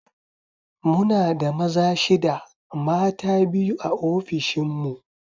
Muna da maza shida mata biyu a ofishin mu